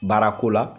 Baarako la